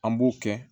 An b'o kɛ